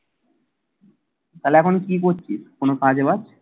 তাহলে এখন কি করছিস? কোন কাজে লাগ।